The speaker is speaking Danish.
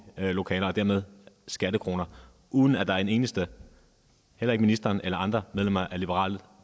lokaler og dermed skattekroner uden at der er en eneste heller ikke ministeren eller andre medlemmer af liberal